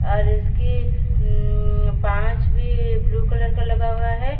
और इसकी उम्मम पांच भी ब्लू कलर का लगा हुआ हैं।